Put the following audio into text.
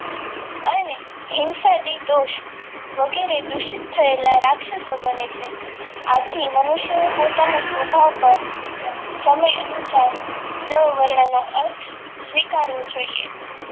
અને હિંસાથી દોસ્ત વગેરે દૂષિત થયેલા રાક્ષસો ગણે છે આથી મનુષ્યએ પોતાના સ્વભાવ પર સમય અનુસાર દ વર્ણનો અર્થ સ્વીકારવો જોઈએ.